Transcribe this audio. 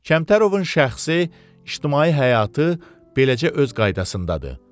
Kəmtərovun şəxsi ictimai həyatı beləcə öz qaydasındadır.